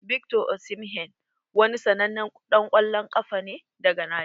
Victor Osimhen wani sannanen dan kwallon ƙafa ne daga Najeriya.